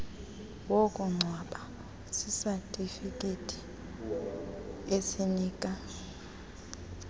wokungcwaba sisatifiketi esinika